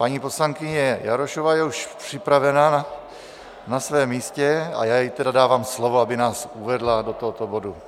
Paní poslankyně Jarošová je už připravená na svém místě, a já jí tedy dávám slovo, aby nás uvedla do tohoto bodu.